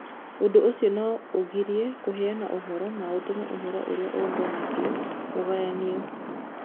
Ũndũ ũcio no ũgirie kũheana ũhoro na ũtũme ũhoro ũrĩa ũũnganagio ũgayanio.